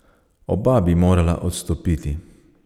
Oba bi morala odstopiti.